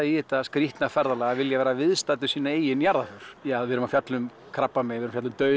í þetta skrítna ferðalag að vilja vera viðstaddur sína eigin jarðarför við erum að fjalla um krabbamein dauðann